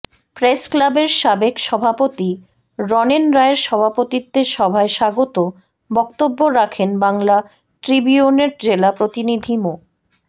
প্রেসক্লাবের সাবেক সভাপতি রনেন রায়ের সভাপতিত্বে সভায় স্বাগত বক্তব্য রাখেন বাংলা ট্রিবিউনের জেলা প্রতিনিধি মো